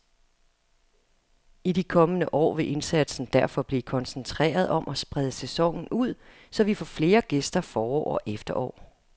I de kommende år vil indsatsen derfor blive koncentreret om at sprede sæsonen ud, så vi får flere gæster forår og efterår.